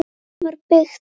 Það var byggt